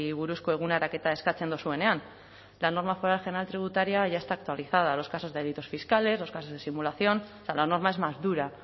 buruzko eguneraketa eskatzen dozuenean la norma foral general tributaria ya está actualizada a los casos de delitos fiscales los casos de simulación o sea la norma es más dura